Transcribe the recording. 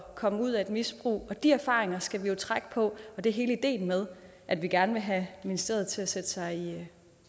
komme ud af et misbrug de erfaringer skal der jo trækkes på og det er hele ideen med at vi gerne vil have ministeriet til at sætte sig